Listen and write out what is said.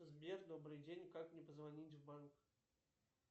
сбер добрый день как мне позвонить в банк